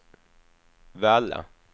Valla